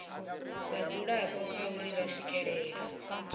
vhadzulapo kha uri vha swikelela